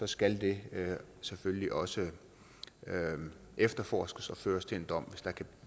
skal det selvfølgelig også efterforskes og føre til en dom